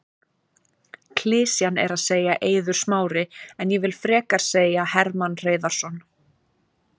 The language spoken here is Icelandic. Klisjan er að segja Eiður Smári en ég vill frekar segja Hermann Hreiðarsson.